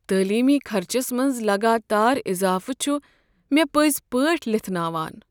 تعلیمی خرچس منٛز لگاتار اضافہٕ چھ مےٚ پٔزِ پٲٹھۍ لِتھناوان۔